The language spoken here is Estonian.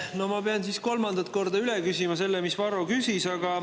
No ma pean siis kolmandat korda üle küsima selle, mida Varro küsis.